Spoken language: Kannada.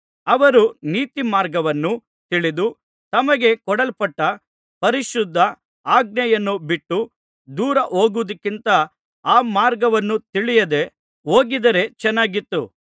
ಅವರು ನೀತಿಮಾರ್ಗವನ್ನು ತಿಳಿದು ತಮಗೆ ಕೊಡಲ್ಪಟ್ಟ ಪರಿಶುದ್ಧ ಆಜ್ಞೆಯನ್ನು ಬಿಟ್ಟು ದೂರ ಹೋಗುವುದಕ್ಕಿಂತ ಆ ಮಾರ್ಗವನ್ನು ತಿಳಿಯದೆ ಹೋಗಿದ್ದರೆ ಚೆನ್ನಾಗಿತ್ತು